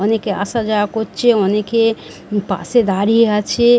অনেকে আসা যাওয়া করছে অনেকে পাশে দাঁড়িয়ে আছে ।